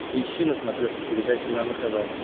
поищи на смотрешке передачу нано тв